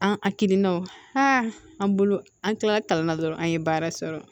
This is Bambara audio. An a kirinanw an bolo an kilala kalan na dɔrɔn an ye baara sɔrɔ